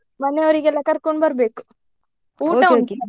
ಮನೆಯವ್ರಿಗೆಲ್ಲಾ ಕರ್ಕೊಂಡ್ ಬರ್ಬೇಕು .